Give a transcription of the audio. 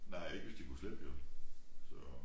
Nej ikke hvis de kunne slippe jo så